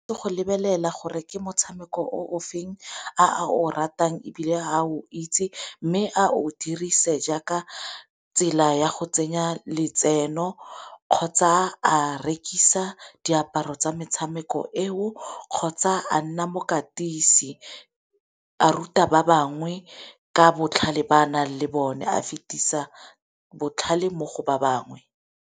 Ke go lebelela gore ke motshameko o o feng a o ratang ebile a o itse mme a o dirise jaaka tsela ya go tsenya letseno kgotsa a rekisa diaparo tsa metshameko eo kgotsa a nna mokatisi, a ruta ba bangwe ka botlhale ba a nang le bone a fetisa botlhale mo go ba bangwe.